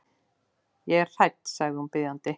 Ég er hrædd, sagði hún biðjandi.